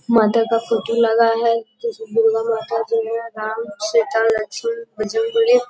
माता का फोटो लगा है दुर्गा माता राम सीता लक्ष्मण बजरंबली।